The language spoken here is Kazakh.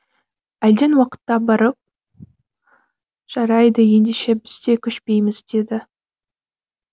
әлден уақытта барып жарайды ендеше біз де көшпейміз деді